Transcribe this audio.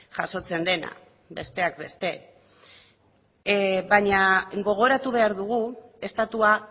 jasotzen dena besteak beste baina gogoratu behar dugu estatua